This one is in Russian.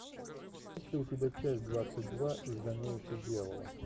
есть ли у тебя часть двадцать два изгоняющий дьявола